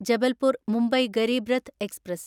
Jabalpur Mumbai ഗരിബ്രത്ത് express